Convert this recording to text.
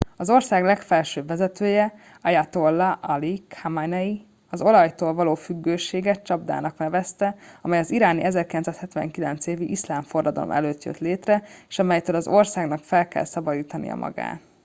az ország legfelsőbb vezetője ayatollah ali khamenei az olajtól való függőséget csapdának nevezte amely az iráni 1979. évi iszlám forradalom előtt jött létre és amelytől az országnak fel kell szabadítania magát